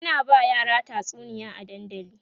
ana ba yara tatsuniya a dandali